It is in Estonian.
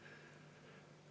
Ei.